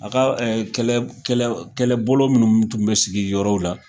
A ka kɛ!ɛ b kɛ!ɛ kɛlɛbolo minnu tun bɛ sigi yɔrɔw la